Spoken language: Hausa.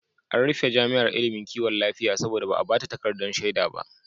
An rufe jami'ar ilimin kiwon lafiya saboda ba a ba ta takardar shaida ba.